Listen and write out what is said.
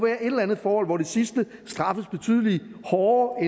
et eller andet forhold hvor det sidste straffes betydelig hårdere